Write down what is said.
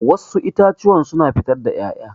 Wassu itatuwan suna fitar da ƴaƴa